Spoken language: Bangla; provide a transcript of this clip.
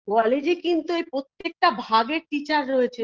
College -এ কিন্তু এই প্রত্যেকটা ভাগের teacher রয়েছে